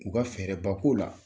U ka fɛɛrɛ ba k'o la.